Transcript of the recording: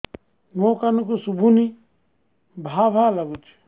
ମୋ କାନକୁ ଶୁଭୁନି ଭା ଭା ଲାଗୁଚି